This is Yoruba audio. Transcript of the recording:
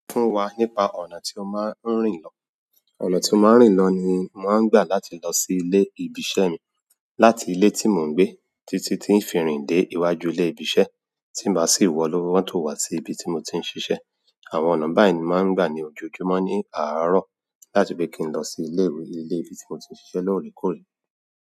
Fún wa nípa ọ̀nà tí o máa ń rìn lọ. Ọnà ti mo ma n rin lọ ni mo ma n gba láti lo si ibi iṣẹ́ mi láti ilé tí mò ń gbé títí tí ń fi rìn dé iwájú ilé ibi iṣẹ́, tí má sì wọ inú mọ́tò wá sí ibi tí mo ti ń ṣiṣẹ́. Àwọn ọ̀nà báyìí ni mo máa ń gbà ní ojoojúmọ́ ní àárọ̀ láti fi kí n lọ sí ilé ìwé ilé ibi tí mo ti ń ṣiṣẹ́ lóòrèkóòrè.